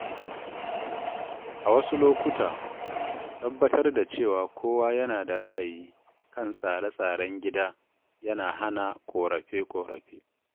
A wasu lokuta, tabbatar da cewa kowa yana da ra'ayi kan tsare tsaren gida yana hana ƙorafe-ƙorafe.